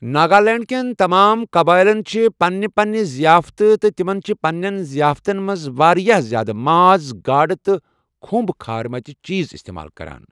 ناگالینٛڈ کیٚن تمام قَبٲیِلن چھ پنٕنہِ پپننہِ ضیافتہٕ ، تہٕ تِمن چھِ پنٛنیٚن ظِیافتن منٛز واریاہ زیادٕ ماز، گاڈ، تہٕ كھٗمب كھٲرِمٕتہِ چیز اِستعمال کَران۔